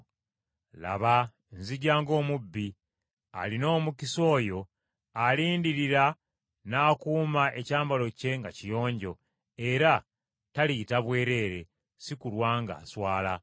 “Laba, nzija ng’omubbi! Alina omukisa oyo alindirira n’akuuma ekyambalo kye nga kiyonjo, era taliyita bwereere, si kulwa ng’aswala.”